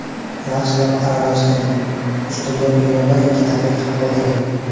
Yaxshilab aralashtiring, ustini yoping va bir-ikki daqiqa qoldiring.